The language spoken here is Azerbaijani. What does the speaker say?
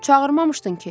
Çağırmamışdın ki.